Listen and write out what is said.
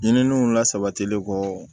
Ɲininiw lasabatili kɔ